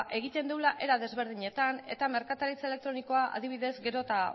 egiten dugula era desberdinetan eta merkataritza elektronikoa adibidez gero eta